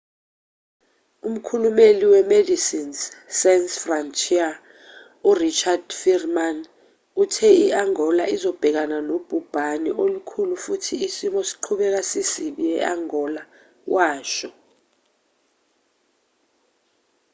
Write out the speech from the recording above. umkhulumeli we-medecines sans frontiere u-richard veerman uthe i-angola izobhekana nobhubhane olukhulu futhi isimo siqhubeka sisibi e-angola washo